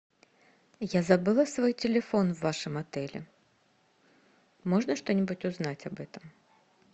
я забыла свой телефон в вашем отеле можно что нибудь узнать об этом